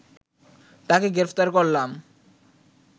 তাকে গ্রেপ্তার করলাম